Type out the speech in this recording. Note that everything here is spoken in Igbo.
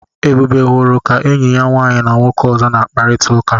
Ebube hụrụ ka enyi ya nwaanyị na nwoke ọzọ na-akparịta ụka.